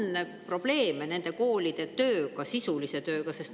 Kas meil on probleeme nende koolide tööga, sisulise tööga?